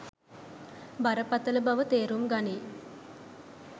බරපතල බව තේරුම් ගනියි.